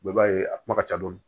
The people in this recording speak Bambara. i b'a ye a kuma ka ca dɔɔni